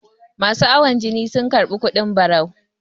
masu awon jini sun karbi kudin barau